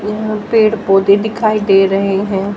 यहां पेड़ पौधे दिखाई दे रहे हैं।